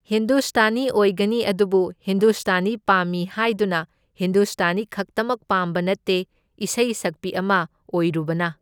ꯍꯤꯟꯗꯨꯁꯇꯥꯅꯤ ꯑꯣꯏꯒꯅꯤ ꯑꯗꯨꯕꯨ ꯍꯤꯟꯗꯨꯁꯇꯥꯅꯤ ꯄꯥꯝꯃꯤ ꯍꯥꯏꯗꯨꯅ ꯍꯤꯟꯗꯨꯁꯇꯥꯅꯤ ꯈꯛꯇꯃꯛ ꯄꯥꯝꯕ ꯅꯠꯇꯦ, ꯏꯁꯩ ꯁꯛꯄꯤ ꯑꯃ ꯑꯣꯏꯔꯨꯕꯅ꯫